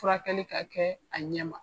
Furakɛli ka kɛ a ɲɛma.